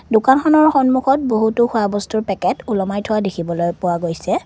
দোকানখনৰ সন্মূখত বহুতো খোৱা বস্তুৰ পেকেট ওলমাই থোৱা দেখিবলৈ পোৱা গৈছে।